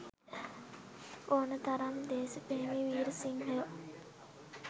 ඕන තරම් දෙසප්‍රෙමි වීර සිංහයො